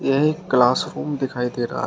यह एक क्लासरूम दिखाई दे रहा--